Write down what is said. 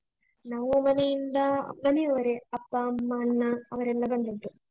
ನಮ್ಮ ಮನೆಯಿಂದಾ ಮನೆಯವರೇ, ಅಪ್ಪ, ಅಮ್ಮ, ಅಣ್ಣ ಅವರೆಲ್ಲ ಬಂದದ್ದು.